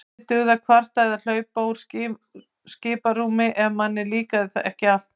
Lítið dugði að kvarta eða hlaupa úr skiprúmi ef manni líkaði ekki allt.